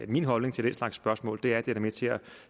min holdning til den slags spørgsmål er at det er med til at